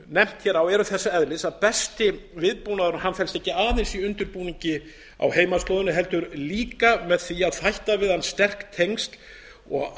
nefnt hér er þess eðlis að besti viðbúnaður og hann felst ekki aðeins í undirbúningi á heimaslóðinni heldur líka með því að þætta við hann sterk tengsl og